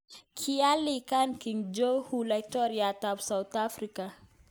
Kiialikan King Jong un Laitoriat ap South Afrika